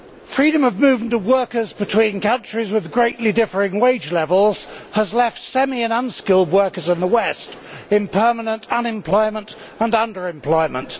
Freedom of movement of workers between countries with greatly differing wage levels has left semi and unskilled workers in the West in permanent unemployment and underemployment.